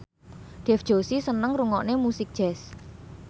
Dev Joshi seneng ngrungokne musik jazz